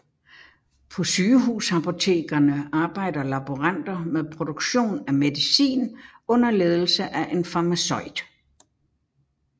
På sygehusapotekerne arbejder laboranter med produktion af medicin under ledelse af en farmaceut